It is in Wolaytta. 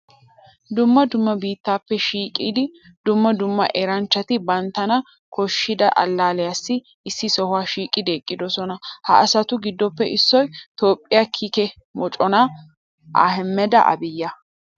Dumma dumma biittaappe shiiqida dumma dumma eranchchati banttana koshshida allaalliyassi issi sohuwa shiiqidi eqqidosona. Ha asatu giddoppe issoy Toophphiya kiike moconaa Ahaaymmida Aabiyya.